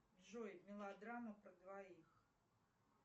джой мелодрама про двоих